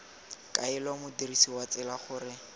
kaela modirsi wa tsela gore